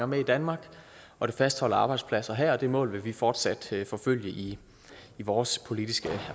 med i danmark og det fastholder arbejdspladser her og det mål vil vi fortsat forfølge i vores politiske